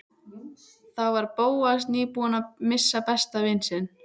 Þá var Bóas nýbúinn að missa besta vin sinn.